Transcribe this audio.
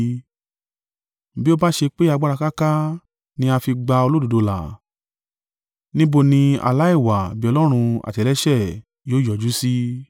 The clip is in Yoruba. “Bí ó bá ṣe pé agbára káká ni a fi gba olódodo là, níbo ni aláìwà-bí-Ọlọ́run àti ẹlẹ́ṣẹ̀ yóò yọjú sí?”